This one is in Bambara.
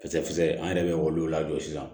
Kisɛ kisɛ an yɛrɛ bɛ olu lajɔ sisan